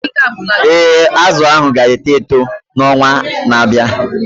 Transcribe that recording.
Ee, azụ ahu ga-eto eto n'ọnwa na-abịa.